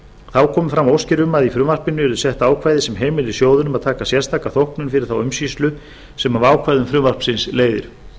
þá komu fram óskir um að í frumvarpið yrði sett ákvæði sem heimili sjóðunum að taka sérstaka þóknun fyrir þá umsýslu sem af ákvæðum frumvarpsins leiðir